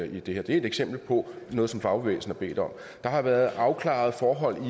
det er et eksempel på noget som fagbevægelsen har bedt om der har været afklaret forhold